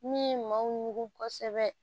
Min ye maaw ɲugu kosɛbɛ